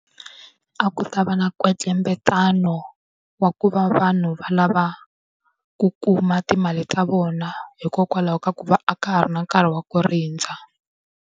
A ku ta va na nkwetlembetano wa ku va vanhu va lava ku kuma timali ta vona, hikokwalaho ka ku va a ka ha ri na nkarhi wa ku rindza.